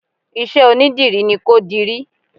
Isẹ́ onídìrí ni kó dirí